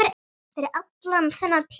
Fyrir allan þennan pening?